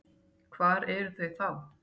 Hvar eru þau þá?